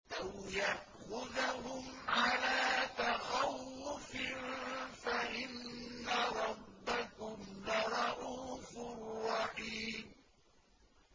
أَوْ يَأْخُذَهُمْ عَلَىٰ تَخَوُّفٍ فَإِنَّ رَبَّكُمْ لَرَءُوفٌ رَّحِيمٌ